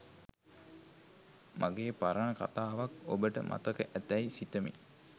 මගේ පරණ කතාවක් ඔබට මතක ඇතැයි සිත‍මි